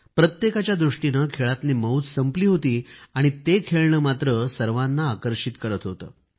प्रत्येकाच्या दृष्टीने खेळातली मौज संपली होती आणि ते खेळणे मात्र सर्वांना आकर्षित करीत होते